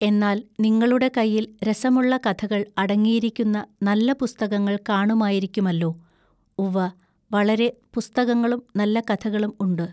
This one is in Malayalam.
എന്നാൽ നിങ്ങളുടെ കയ്യിൽ രസമുള്ള കഥകൾ അടങ്ങിയിരിക്കുന്ന നല്ല പുസ്തകങ്ങൾ കാണുമായിരിക്കുമല്ലോ ഉവ്വ വളരെ പുസ്തകങ്ങളും നല്ല കഥകളും ഉണ്ട്.